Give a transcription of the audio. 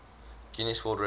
guinness world records